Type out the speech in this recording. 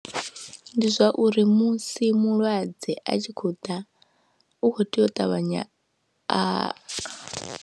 Ndi zwa uri musi mulwadze a tshi khou ḓa u khou tea u ṱavhanya a.